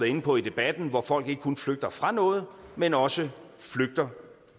inde på i debatten hvor folk ikke kun flygter fra noget men også flygter